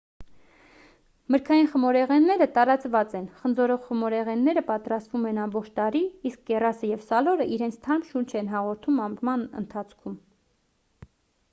մրգային խմորեղենները տարածված են խնձորով խմորեղենները պատրաստվում են ամբողջ տարի իսկ կեռասը և սալորը իրենց թարմ շունչ են հաղորդում ամռան ընթացքում